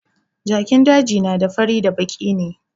Jakin daji na da baki da fari ne